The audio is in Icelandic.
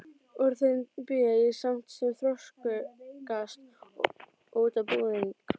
Úr þeim bý ég saft sem þroskast út á búðing.